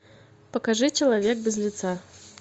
покажи человек без лица